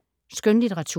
Skønlitteratur